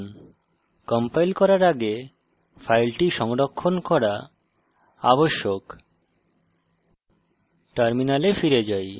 save icon টিপুন compile করার আগে file সংরক্ষণ করা আবশ্যক